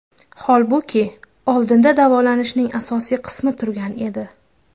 Holbuki, oldinda davolanishning asosiy qismi turgan edi.